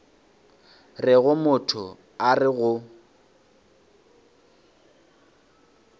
rego motho a re go